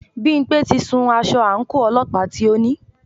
Bímpé ti sun aṣọ àńkò ọlọ́pàá tí o ní.